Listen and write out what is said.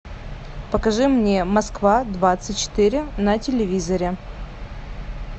покажи мне москва двадцать четыре на телевизоре